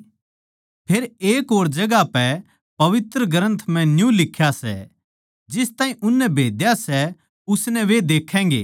फेर एक और जगहां पै पवित्र ग्रन्थ म्ह न्यू लिख्या सै जिस ताहीं उननै बेधा सै उसनै वे देक्खैगें